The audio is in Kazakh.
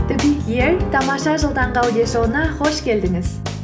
тамаша жыл таңғы аудиошоуына қош келдіңіз